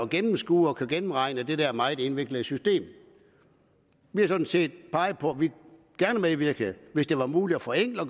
gennemskue og gennemregne det der meget indviklede system vi har sådan set peget på at vi gerne medvirkede hvis det var muligt at forenkle og